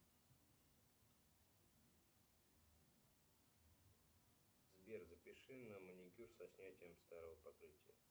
сбер запиши на маникюр со снятием старого покрытия